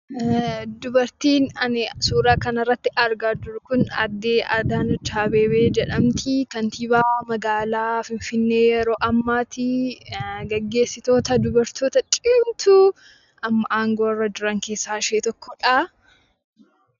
Dubartiin ani suuraa kana irratti argaa jiru kun aadde Adaanech Abeebee jedhamti. Kantiibaa magaalaa Finfinnee yeroo ammaati. Gaggeessitoota dubartoota cimtuu amma aangoo irra jiran keessaa ishee tokkodha.